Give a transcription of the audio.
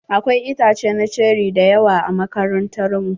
Akwai itace na ceri da yawa a makarantar mu.